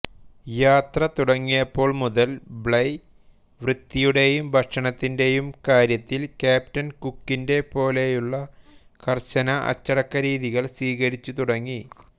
യാത്ര തുടങ്ങിയപ്പോൾ മുതൽ ബ്ലൈ വൃത്തിയുടെയും ഭക്ഷണത്തിന്റെയും കാാര്യത്തിൽ ക്യാപ്റ്റൻ കുക്കിന്റെ പോലെയുള്ള കർശന അച്ചടക്കരീതികൾ സ്വീകരിച്ചുതുടങ്ങി